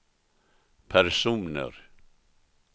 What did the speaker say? personer